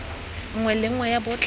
nngwe le nngwe ya botlhe